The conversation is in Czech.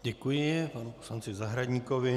Děkuji panu poslanci Zahradníkovi.